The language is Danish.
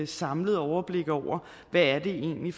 samlet overblik over hvad det egentlig